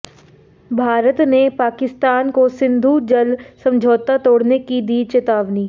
भारत ने पाकिस्तान को सिंधु जल समझौता तोड़ने की दी चेतावनी